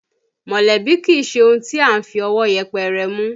Mọ̀lẹ́bí kìí ṣe ohun tí à ń fi ọwọ́ yẹpẹrẹ mú